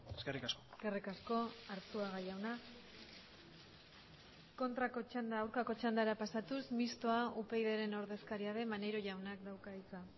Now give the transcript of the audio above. eskerrik asko eskerrik asko arzuaga jauna kontrako txanda aurkako txandara pasatuz mistoa upydren ordezkaria den maneiro jaunak dauka hitza